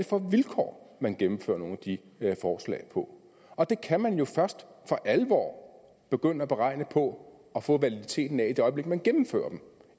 for vilkår man gennemfører nogle af de forslag på og det kan man jo først for alvor begynde at beregne på og få validiteten af i det øjeblik man gennemfører dem